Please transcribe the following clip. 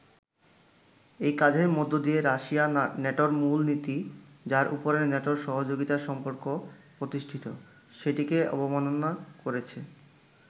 এই কাজের মধ্য দিয়ে রাশিয়া ন্যাটোর মূল নীতি, যার উপরে ন্যাটোর সহযোগিতা সম্পর্ক প্রতিষ্ঠিত, সেটিকে অবমাননা করেছে।